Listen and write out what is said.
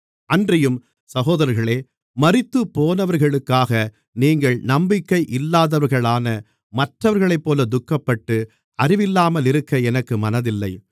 அன்றியும் சகோதரர்களே மரித்துப்போனவர்களுக்காக நீங்கள் நம்பிக்கை இல்லாதவர்களான மற்றவர்களைப்போல துக்கப்பட்டு அறிவில்லாமலிருக்க எனக்கு மனதில்லை